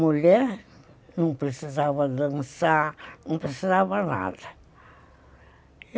Mulher, não precisava dançar, não precisava nada.